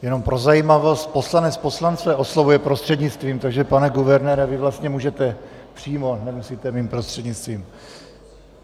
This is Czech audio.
Jenom pro zajímavost, poslanec poslance oslovuje prostřednictvím, takže pane guvernére, vy vlastně můžete přímo, nemusíte mým prostřednictvím.